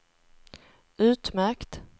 utmärkt